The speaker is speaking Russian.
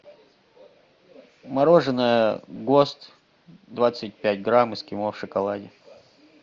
мороженое гост двадцать пять грамм эскимо в шоколаде